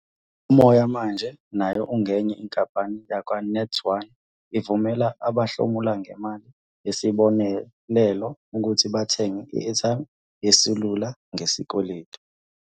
Umoya Manje, nayo engenye inkampani yakwaNet1 ivumela abahlomula ngemali yesibonelelo ukuthi bathenge i-airtime yeselula ngesikweletu.